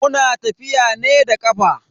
Muna tafiya ne da kafa.